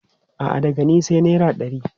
A'a, daga ni sai naira ɗari.